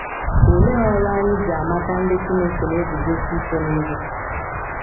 Olee ọrụ anyị ji amata ndị Chineke na - eguzosi ike n’ihe?